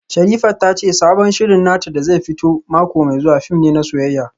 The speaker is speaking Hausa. Sherifat ta ce sabon shirin nata da zai fito mako mai zuwa fim ne na soyayya